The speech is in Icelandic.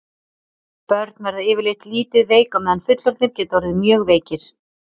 börn verða yfirleitt lítið veik á meðan fullorðnir geta orðið mjög veikir